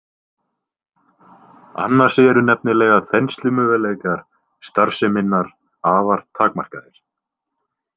Annars eru nefnilega þenslumöguleikar starfseminnar afar takmarkaðir.